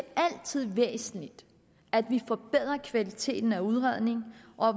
altid er væsentligt at vi forbedrer kvaliteten af udredning og